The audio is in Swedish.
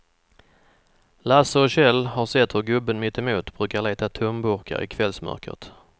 Lasse och Kjell har sett hur gubben mittemot brukar leta tomburkar i kvällsmörkret.